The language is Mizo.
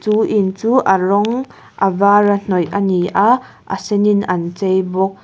chu in chu a rawng a var a hnawih a ni a a sen in an chei bawk.